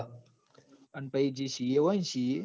અને પાહી જે CA હોય ને CA